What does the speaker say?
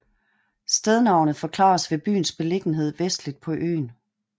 Stednavnet forklares ved byens beliggenhed vestligst på øen